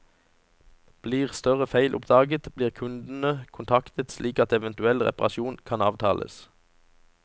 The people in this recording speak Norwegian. Blir større feil oppdaget blir kundene kontaktet slik at eventuell reparasjon kan avtales.